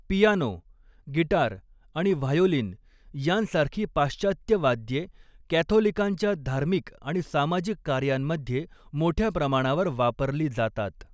Piano, guitar आणि violin यांसारखी पाश्चात्य वाद्ये कॅथोलिकांच्या धार्मिक आणि सामाजिक कार्यांमध्ये मोठ्या प्रमाणावर वापरली जातात.